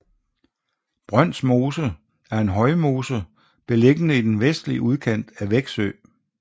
Brøns Mose er en højmose beliggende i den vestlige udkant af Veksø